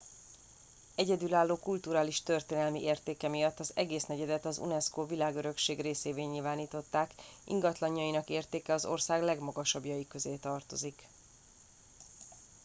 egyedülálló kulturális és történelmi értéke miatt az egész negyedet az unesco világörökség részévé nyilvánították ingatlanjainak értéke az ország legmagasabbjai közé tartozik